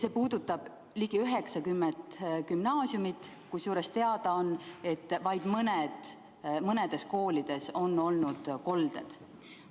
See puudutab ligi 90 gümnaasiumi, kusjuures teada on, et vaid mõnes koolis on olnud kolded.